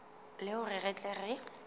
le hore re tle re